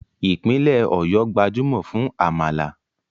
Ìpínlẹ̀ Ọ̀yọ́ gbajúmọ̀ fún àmàlà